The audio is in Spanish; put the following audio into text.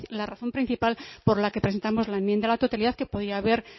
la razón principal por la que presentamos la enmienda a la totalidad que podía haber